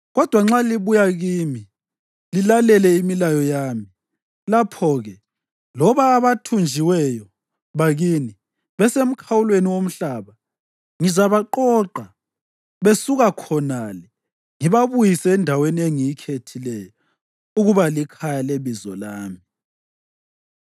kodwa nxa libuya kimi lilalele imilayo yami, lapho-ke loba abathunjiweyo bakini besemkhawulweni womhlaba, ngizabaqoqa besuka khonale ngibabuyise endaweni engiyikhethileyo ukuba likhaya leBizo lami.